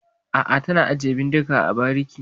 A'a, tana ajiye bindiga a bariki.